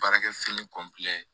Baarakɛfini